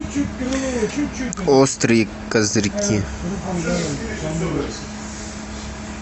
острые козырьки